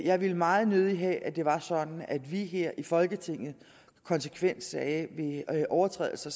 jeg ville meget nødig have at det var sådan at vi her i folketinget konsekvent sagde at ved overtrædelser